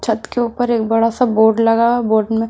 छत के ऊपर एक बड़ा सा बोर्ड लगा हुआ बोर्ड में--